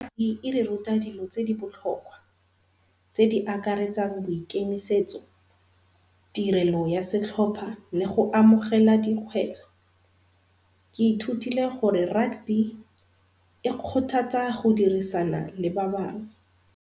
E re ruta dilo tse di botlhokwa tse di akaretsang boikemisetso, tirelo ya setlhopha le go amogela dikgwetlho. Ke ithutile gore rugby e kgothatsa go dirisana le ba bangwe.